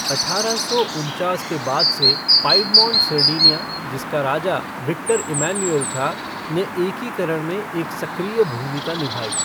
अठारह सौ उनचास के बाद से पाईडमोन्ट सरडिनिया जिसका राजा विक्टर एम्मनुऐल था ने एकीकरण में एक सक्रिय भूमिका निभाई।